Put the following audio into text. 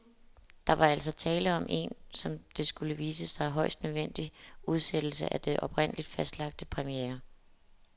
Der var altså tale om en, som det skulle vise sig, højst nødvendig udsættelse af den oprindeligt fastlagte premiere.